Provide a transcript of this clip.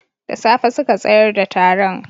Da safe suka tsayar da taron